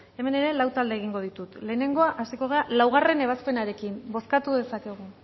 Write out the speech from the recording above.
hemen ere lau talde egingo ditut lehenengoa hasiko gara laugarren ebazpenarekin bozkatu dezakegu